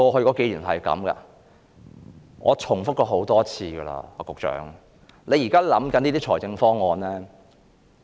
局長，我已重複了很多次，你現在所想的財政方案......